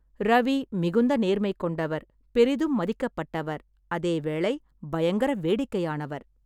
ரவி மிகுந்த நேர்மை கொண்டவர், பெரிதும் மதிக்கப்பட்டவர், அதேவேளை பயங்கர வேடிக்கையானவர்.